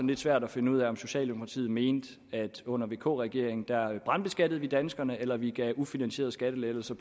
lidt svært at finde ud af om socialdemokratiet mener at vi under vk regeringen brandbeskattede danskerne eller at vi gav ufinansierede skattelettelser